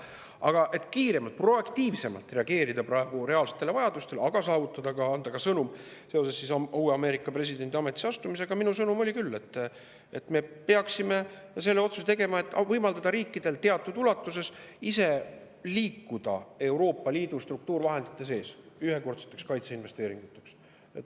Aga et kiiremalt ja proaktiivsemalt reageerida praegustele reaalsetele vajadustele, ja anda ka sõnum seoses uue Ameerika presidendi ametisse astumisega, siis minu sõnum oli küll, et me peaksime selle otsuse tegema, et võimaldada riikidel teatud ulatuses ise liikuda Euroopa Liidu struktuurivahenditega edasi seoses ühekordsete kaitseinvesteeringute tegemisega.